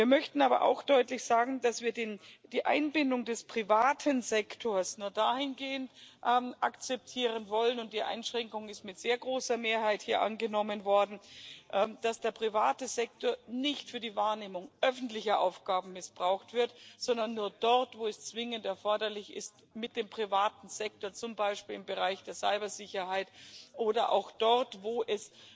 Wir möchten aber auch deutlich sagen, dass wir die Einbindung des privaten Sektors nur dahingehend akzeptieren wollen und die Einschränkung ist mit sehr großer Mehrheit hier angenommen worden dass der private Sektor nicht für die Wahrnehmung öffentlicher Aufgaben missbraucht wird, sondern nur dort, wo es zwingend erforderlich ist, mit dem privaten Sektor zum Beispiel im Bereich der Cybersicherheit oder auch dort, wo es